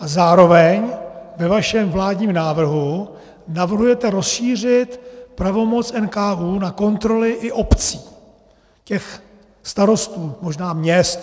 A zároveň, ve vašem vládním návrhu navrhujete rozšířit pravomoc NKÚ na kontroly i obcí, těch starostů, možná měst.